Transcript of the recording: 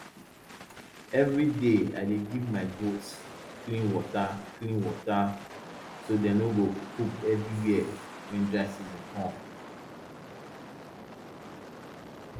everyday i dey give my goats clean water clean water so dem no go poop everywhere when dry season come